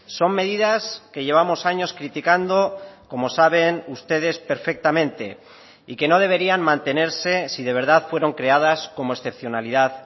son medidas que llevamos años criticando como saben ustedes perfectamente y que no deberían mantenerse si de verdad fueron creadas como excepcionalidad